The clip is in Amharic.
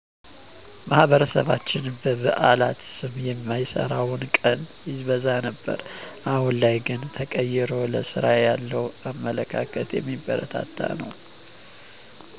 ማህበረሰባችን በበአላት ስም የማይሰራው ቀን ይበዛ ነበር አሁን ላይ ግን ተቀይሮ ለስራ ያለው አመለካከት የሚበረታታ ነው